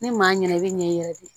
Ni maa ɲɛna i bi ɲɛ i yɛrɛ de ye